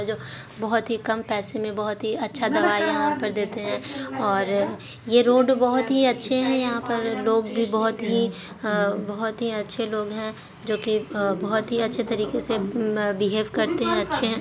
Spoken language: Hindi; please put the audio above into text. जो बहोत ही कम पैसे मे बहोत ही अच्छा दवाइयाँ यहाँ पर देते हैंऔर अ ये रोड भी बहोत अच्छे है यहा पर लोग भी बहुत ही बहोत ही अच्छे लोग हैं। जो की बहोत ही अच्छी तरीके से अअ बिहैव करते हैं अच्छे--